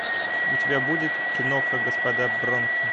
у тебя будет киноха господа бронко